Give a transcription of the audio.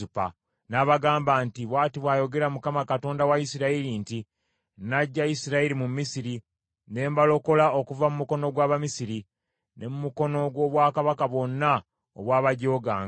N’abagamba nti, “Bw’ati bw’ayogera Mukama , Katonda wa Isirayiri nti, ‘Naggya Isirayiri mu Misiri, ne mbalokola okuva mu mukono gw’Abamisiri, ne mu mukono gw’obwakabaka bwonna obwabajooganga.